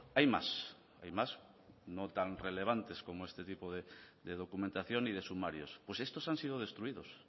hay más hay más no tan relevantes como este tipo de documentación y de sumarios pues estos han sido destruidos